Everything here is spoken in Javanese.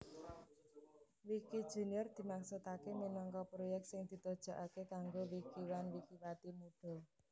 Wikijunior dimaksudaké minangka proyèk sing ditujokaké kanggo wikiwan wikiwati mudha